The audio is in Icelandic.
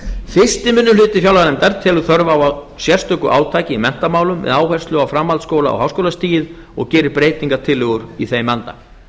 fyrsti minni hluti fjárlaganefndar telur þörf á sérstöku átaki í menntamálum með áherslu á framhaldsskóla og háskólastigið og gerir breytingartillögur í þeim anda